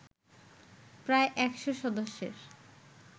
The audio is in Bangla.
প্রায় একশ সদস্যের